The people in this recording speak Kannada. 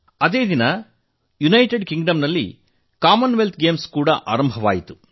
ಅದೇ ದಿನ ಯುನೈಟೆಡ್ ಕಿಂಗ್ ಡಂನಲ್ಲಿ ಕಾಮನ್ ವೆಲ್ತ್ ಕ್ರೀಡೆ ಕೂಡಾ ಆರಂಭವಾಯಿತು